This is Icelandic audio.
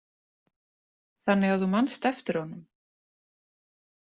Þannig að þú manst eftir honum?